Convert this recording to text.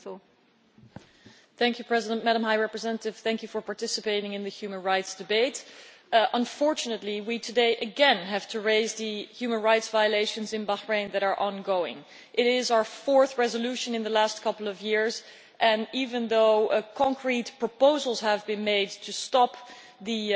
Madam President, I wish to thank the High Representative for participating in the human rights debate. Unfortunately, we today again have to raise the human rights violations in Bahrain that are ongoing. It is our fourth resolution in the last couple of years, and even though concrete proposals have been made to stop the